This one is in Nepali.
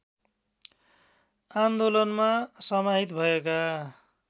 आन्दोलनमा समाहित भएका